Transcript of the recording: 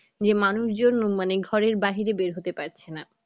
যে মানুষ জন মানে ঘরের বাহিরে বের হতে পারছে না